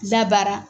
Labaara